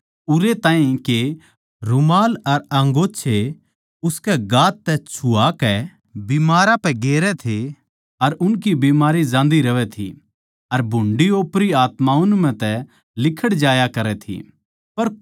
उरै ताहीं के रूमाल अर अन्गोंछे उसकै गात तै छुआ कै बिमारां पै गेरै थे अर उनकी बीमारी जान्दी रहवैं थी अर भुंडी ओपरी आत्मा उन म्ह तै लिकड़ जाया करै थी